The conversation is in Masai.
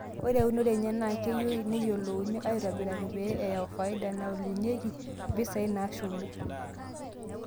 Ore eunire enye naa keyieu neyiolouni aaitobiraki pee eyau faida naolunyeki mpisaai naashumi.